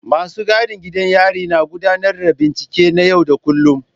Masu gadin gidan yari na gudanar da bincike na yau da kullun.